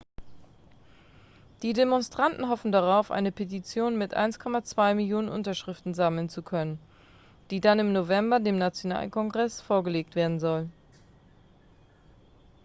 die demonstranten hoffen darauf eine petition mit 1,2 millionen unterschriften sammeln zu können die dann im november dem nationalkongress vorgelegt werden soll